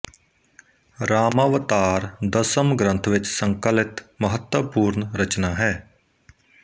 ਰਾਮਾਵਤਾਰ ਦਸਮ ਗ੍ਰੰਥ ਵਿਚ ਸੰਕਲਿਤ ਮਹੱਤਵਪੂਰਣ ਰਚਨਾ ਹੈ